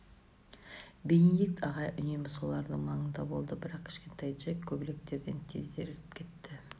бенедикт ағай үнемі солардың маңында болды бірақ кішкентай джек көбелектерден тез зерігіп кетті